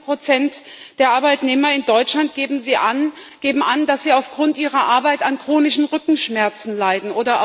19 der Arbeitnehmer in Deutschland geben an, dass sie aufgrund ihrer Arbeit an chronischen Rückenschmerzen leiden.